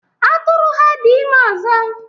Atụrụ ha dị ime ọzọ.